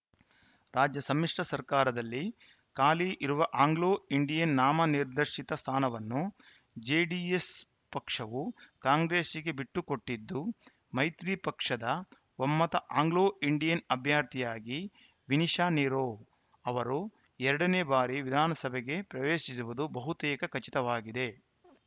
ರಾಜ್ಯ ಸಮ್ಮಿಶ್ರ ಸರ್ಕಾರದಲ್ಲಿ ಖಾಲಿ ಇರುವ ಆಂಗ್ಲೋ ಇಂಡಿಯನ್‌ ನಾಮನಿರ್ದಶಿತ ಸ್ಥಾನವನ್ನು ಜೆಡಿಎಸ್‌ ಪಕ್ಷವು ಕಾಂಗ್ರೆಸ್‌ಗೆ ಬಿಟ್ಟುಕೊಟ್ಟಿದ್ದು ಮೈತ್ರಿ ಪಕ್ಷದ ಒಮ್ಮತ ಆಂಗ್ಲೋಇಂಡಿಯನ್‌ ಅಭ್ಯರ್ಥಿಯಾಗಿ ವಿನಿಶಾ ನಿರೋ ಅವರು ಎರಡನೇ ಬಾರಿ ವಿಧಾನಸಭೆಗೆ ಪ್ರವೇಶಿಸುವುದು ಬಹುತೇಕ ಖಚಿತವಾಗಿದೆ